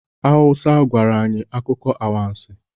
Hauwa gwara anyị akụkọ anwansi